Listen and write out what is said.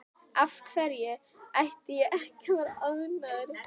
Af hverju ætti ég ekki að vera ánægður?